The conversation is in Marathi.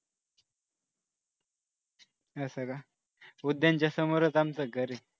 असं का उद्यानाच्या समोरच आमचं घर आहे